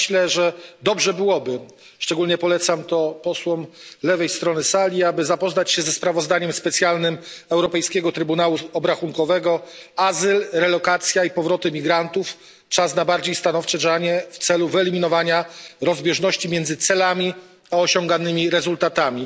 Ja myślę, że dobrze byłoby, szczególnie polecam to posłom z lewej strony sali, aby zapoznać się ze sprawozdaniem specjalnym Europejskiego Trybunału Obrachunkowego Azyl, relokacja i powroty emigrantów Czas na bardziej stanowcze działanie w celu wyeliminowania rozbieżności między celami a osiąganymi rezultatami.